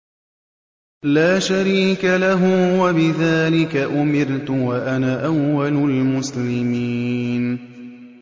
لَا شَرِيكَ لَهُ ۖ وَبِذَٰلِكَ أُمِرْتُ وَأَنَا أَوَّلُ الْمُسْلِمِينَ